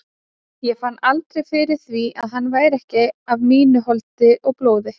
Ég fann aldrei fyrir því að hann væri ekki af mínu holdi og blóði.